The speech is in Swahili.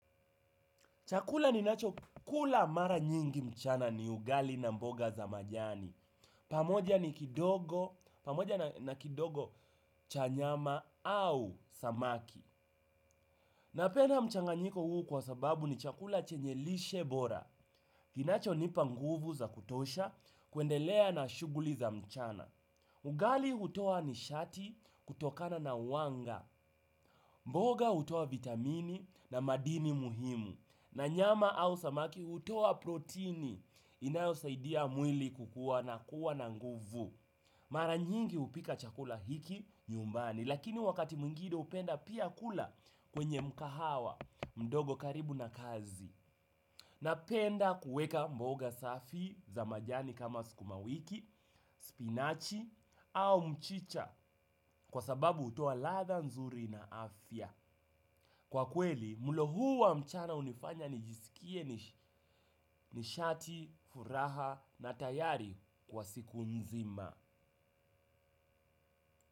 Chakula ninacho kula mara nyingi mchana ni ugali na mboga za majani. Pamoja ni kidogo, pamoja na kidogo cha nyama au samaki. Napenda mchanganyiko huu kwa sababu ni chakula chenye lishe bora. Kinacho nipa nguvu za kutosha, kuendelea na shuguli za mchana. Ugali hutoa nishati kutokana na uwanga. Mboga hutoa vitamini na madini muhimu. Na nyama au samaki hutoa proteini inayo saidia mwili kukua na kuwa na nguvu. Mara nyingi upika chakula hiki nyumbani, lakini wakati mwingine upenda pia kula kwenye mkahawa mdogo karibu na kazi. Napenda kuweka mboga safi za majani kama sukuma wiki, spinachi au mchicha kwa sababu hutoa lada nzuri na afya. Kwa kweli, mlo huu wa mchana unifanya nijisikie nishati, furaha na tayari kwa siku nzima.